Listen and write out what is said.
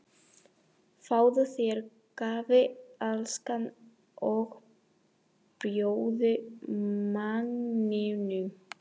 Fáðu þér kaffi, elskan, og bjóddu manninum!